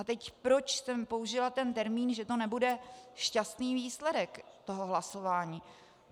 A teď proč jsem použila ten termín, že to nebude šťastný výsledek toho hlasování.